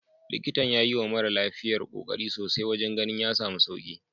Likitan ya yiwa mara lafiyar kokari sosai wajen ganin ya samu sauki.